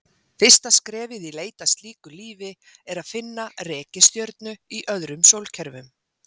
Fyrsta skrefið í leit að slíku lífi er að finna reikistjörnur í öðrum sólkerfum.